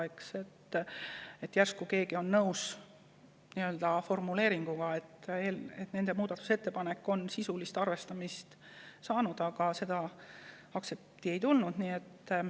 Kindlasti oleks olnud väga meeldiv, kui keegi oleks olnud nõus sellise formuleeringuga, et nende muudatusettepanekut on sisuliselt arvestatud, aga seda aktsepti ei tulnud.